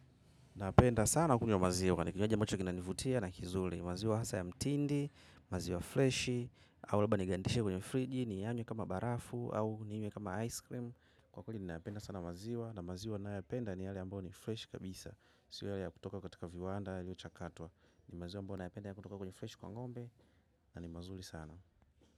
Napenda sana kunywa maziwa, ni kinywaji ambacho kinanivutia na kizuri. Maziwa hasa ya mtindi, maziwa freshi au labda nigandishe kwenye friji niyanywe kama barafu au ninywe kama ice cream. Kwa kweli ninayapenda sana maziwa, na maziwa nayopenda ni yale ambayo ni freshi kabisa. Sio yale ya kutoka katika viwanda, yaliyochakatwa. Ni maziwa ambayo nayapenda ya kutoka kwenye freshi kwa ng'ombe, na ni mazuri sana.